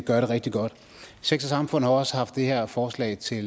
gør det rigtig godt sex samfund har også haft det her forslag til